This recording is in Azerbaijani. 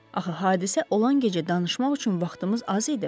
Axı hadisə olan gecə danışmaq üçün vaxtımız az idi.